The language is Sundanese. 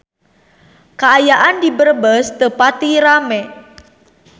Kaayaan di Brebes teu pati rame